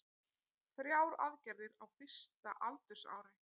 Þrjár aðgerðir á fyrsta aldursári